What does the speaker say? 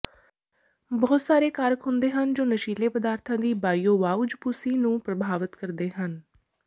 ਬਹੁਤ ਸਾਰੇ ਕਾਰਕ ਹੁੰਦੇ ਹਨ ਜੋ ਨਸ਼ੀਲੇ ਪਦਾਰਥਾਂ ਦੀ ਬਾਇਓਵਾਊਜਪੁਸੀ ਨੂੰ ਪ੍ਰਭਾਵਤ ਕਰ ਸਕਦੇ ਹਨ